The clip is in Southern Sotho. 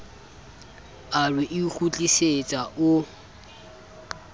a re o ikgutlisetsa o